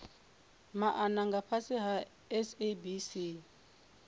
maana nga fhasi ha sabc